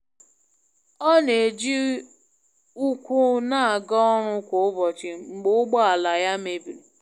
Ọ na e ji ukwu na aga ọrụ kwa ụbọchị mgbe ụgbọ ala ya mebiri.